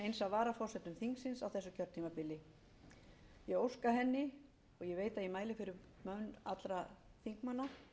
varaforsetum þingsins á þessu kjörtímabili ég vil óska henni og ég veit að ég mæli fyrir hönd allra þingmanna